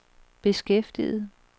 beskæftiget